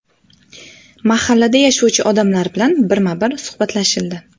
Mahallada yashovchi odamlar bilan birma-bir suhbatlashildi.